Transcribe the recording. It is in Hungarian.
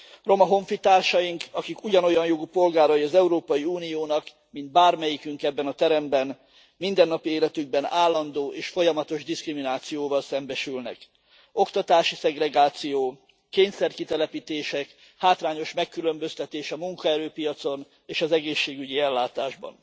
Roma honfitársaink, akik ugyanolyan jogú polgárai az Európai Uniónak, mint bármelyikünk ebben a teremben, mindennapi életükben állandó és folyamatos diszkriminációval szembesülnek. Oktatási szegregáció, kényszer kitelepítések, hátrányos megkülönböztetés a munkaerőpiacon és az egészségügyi ellátásban.